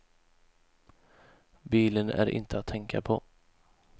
Bilen är inte att tänka på.